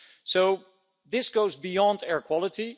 So this goes beyond air quality.